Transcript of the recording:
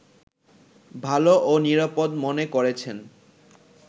ভালো ও নিরাপদ মনে করছেন